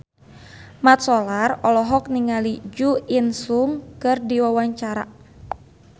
Mat Solar olohok ningali Jo In Sung keur diwawancara